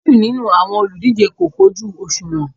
Méjì nínú àwọn olùdíje kò kojú òṣùwọ̀n